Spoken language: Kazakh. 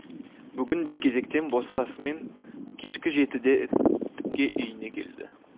бүгін де кезектен босасымен кешкі жетіде тіке үйіне келді